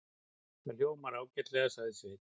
Það hljómar ágætlega, sagði Sveinn.